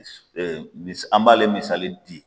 Eee mi an b'ale misali di